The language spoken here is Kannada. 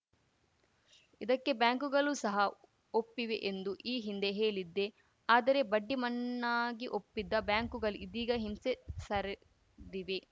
ಇದಕ್ಕೆ ಬ್ಯಾಂಕ್‌ಗಲೂ ಸಹ ಒಪ್ಪಿವೆ ಎಂದು ಈ ಹಿಂದೆ ಹೇಳಿದ್ದೆ ಆದರೆ ಬಡ್ಡಿ ಮನ್ನಾಗೆ ಒಪ್ಪಿದ್ದ ಬ್ಯಾಂಕ್‌ಗಲು ಇದೀಗ ಹಿಂಸೆ ಸರಿದಿವೆ